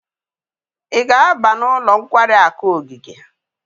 Ị ga-aba n'ụlọ nkwari akụ ogige?